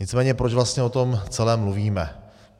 Nicméně proč vlastně o tom celém mluvíme?